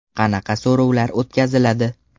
Qanaqa so‘rovlar o‘tkaziladi?